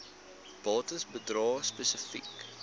bates bedrae spesifiek